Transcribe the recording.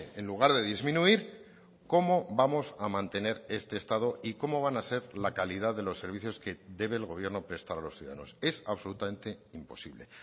en lugar de disminuir cómo vamos a mantener este estado y cómo van a ser la calidad de los servicios que debe el gobierno prestar a los ciudadanos es absolutamente imposible